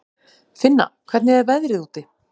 Finna, hvernig er veðrið úti?